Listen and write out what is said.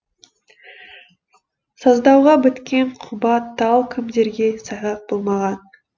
саздауға біткен құба тал кімдерге сайғақ болмаған